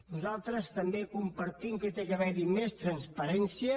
nosaltres també compartim que ha d’haver hi més transparència